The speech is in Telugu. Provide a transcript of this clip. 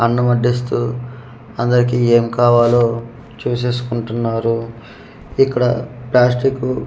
అన్నం వడ్డిస్తు అందరికి ఏమ్ కావాలో చుసేసుకుఉంటున్నారు ఇక్కడ ప్లాస్టికు .